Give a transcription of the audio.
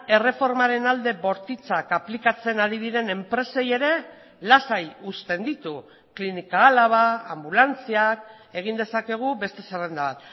erreformaren alde bortitzak aplikatzen ari diren enpresei ere lasai uzten ditu clínica álava anbulantziak egin dezakegu beste zerrenda